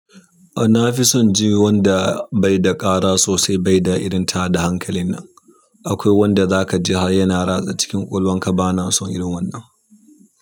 Na fi son ji wanda bai da ƙara sosai bai da irin tada hankalin nan. Akwai wanda za ka ji har yana ratsa cikin ƙullanka bana son irin wannan.